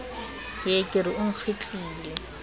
hee ke re o nkgitlile